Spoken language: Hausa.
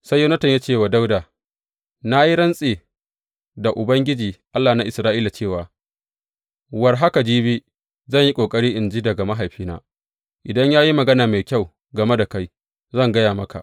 Sai Yonatan ya ce wa Dawuda, Na yi rantse da Ubangiji, Allah na Isra’ila cewa war haka jibi, zan yi ƙoƙari in ji daga mahaifina, idan ya yi magana mai kyau game da kai, zan gaya maka.